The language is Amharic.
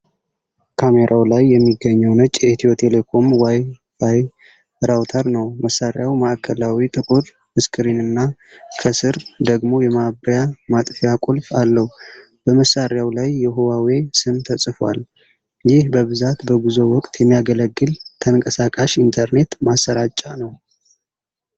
ካሜራው ላይ የሚገኘው ነጭ የኢትዮ ቴሌኮም ዋይ ፋይ ራውተር ነው፡፡ መሣሪያው ማእከላዊ ጥቁር ስክሪንና ከሥር ደግሞ የማብሪያ/ማጥፊያ ቁልፍ አለው፡፡ በመሣሪያው ላይ የሁዋዌ ስም ተጽፏል፡፡ ይህ በብዛት በጉዞ ወቅት የሚያገለግል ተንቀሳቃሽ ኢንተርኔት ማሠራጫ ነው፡፡